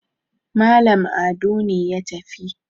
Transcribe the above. Malam Ado ne ya tafi